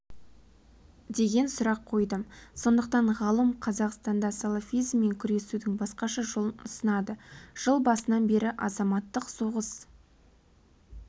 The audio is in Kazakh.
деген сұрақ қойдым сондықтан ғалым қазақстанда салафизммен күресудің басқаша жолын ұсынады жыл басынан бері азаматтық соғыс